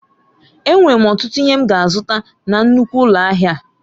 Enwere m ọtụtụ ihe m ga-azụta na nnukwu ụlọ ahịa a.